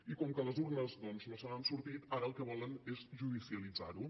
i com que a les urnes doncs no se n’han sortit ara el que volen és judicialitzar ho